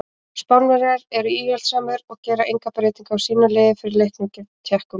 Spánverjar eru íhaldssamir og gera enga breytingu á sínu liði frá leiknum gegn Tékkum.